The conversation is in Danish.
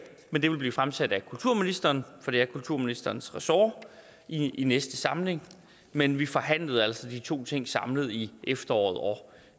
men det vil blive fremsat af kulturministeren for det er kulturministerens ressort i næste samling men vi forhandlede altså de to ting samlet i efteråret og